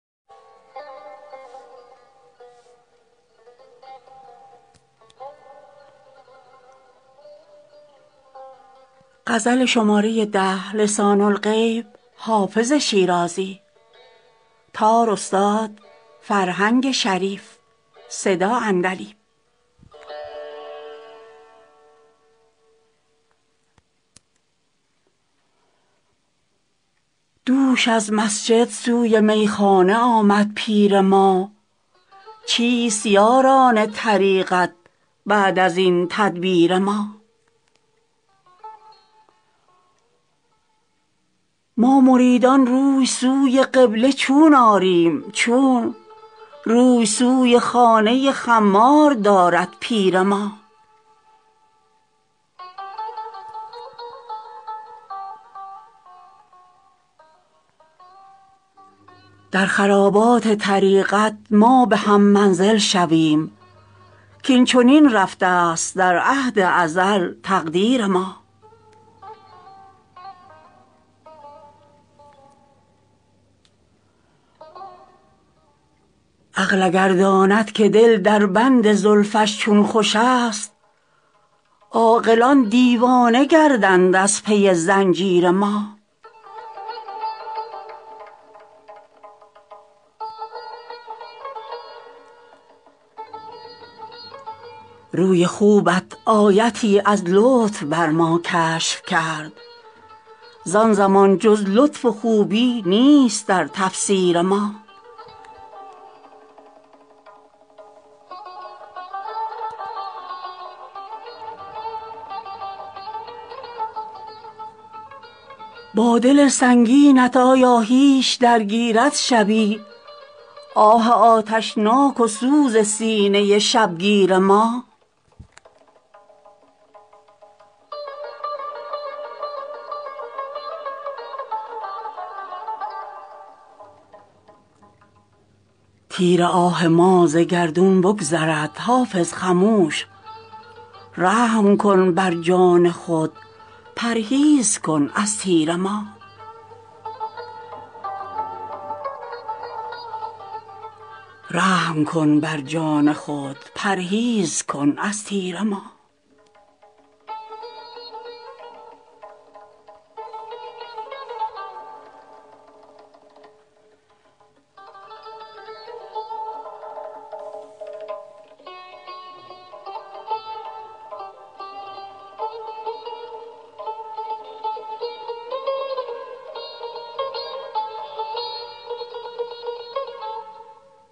دوش از مسجد سوی میخانه آمد پیر ما چیست یاران طریقت بعد از این تدبیر ما ما مریدان روی سوی قبله چون آریم چون روی سوی خانه خمار دارد پیر ما در خرابات طریقت ما به هم منزل شویم کاین چنین رفته است در عهد ازل تقدیر ما عقل اگر داند که دل در بند زلفش چون خوش است عاقلان دیوانه گردند از پی زنجیر ما روی خوبت آیتی از لطف بر ما کشف کرد زان زمان جز لطف و خوبی نیست در تفسیر ما با دل سنگینت آیا هیچ درگیرد شبی آه آتشناک و سوز سینه شبگیر ما تیر آه ما ز گردون بگذرد حافظ خموش رحم کن بر جان خود پرهیز کن از تیر ما